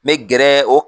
N bɛ gɛrɛ o